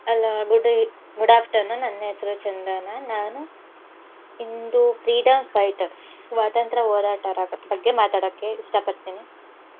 Hello, good eve~ good afternoon. ನನ್ ಹೆಸ್ರು ಚಂದನ. ನಾನು ಇಂದು freedom fighters ಸ್ವಾತಂತ್ರ್ಯ ಹೋರಾಟರ ಬಗ್ಗೆ ಮಾತಾಡಕ್ಕೆ ಇಷ್ಟಪಡ್ತೀನಿ.